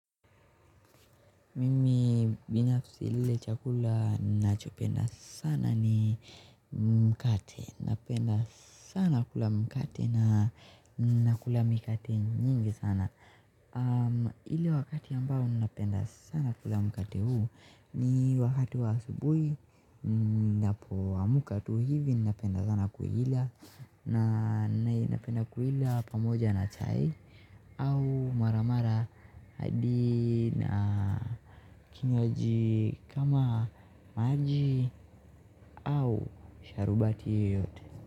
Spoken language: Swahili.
Mimi binafsi kile chakula nachopenda sana ni mkate napenda sana kula mkate na nakula mikate nyingi sana ile wakati ambao napenda sana kula mkate huu ni wakati wa asubuhi ninapo amka tu hivi napenda sana kuila na napenda kuila pamoja na chai au maramara hadi na kinywaji kama maji au sharubati yeyote.